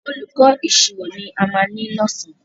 Olùkó ìṣirò ni a ma ní lọ̀sán